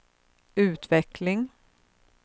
utveckling